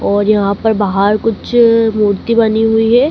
और यहां पर बाहर कुछ मूर्ति बनी हुई है।